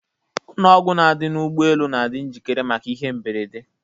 Ụnọ ọgwụ dị n'ọdụ ụgbọ elu na-adị njikere maka ihe mberede.